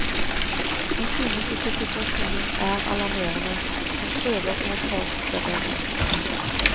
Vi synes ikke situasjonen er alarmerende, men prøver å forberede oss.